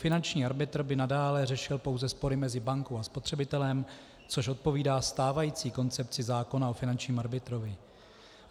Finanční arbitr by nadále řešil pouze spory mezi bankou a spotřebitelem, což odpovídá stávající koncepci zákona o finančním arbitrovi.